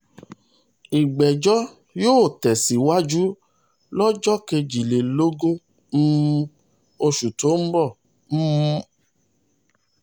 ìgbẹ́jọ́ ìgbẹ́jọ́ yóò tẹ̀síwájú lọ́jọ́ kejìlélógún um oṣù tó ń bọ̀ um